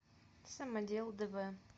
самодел дв